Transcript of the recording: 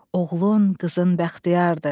Oğlun, qızın bəxtiyardır.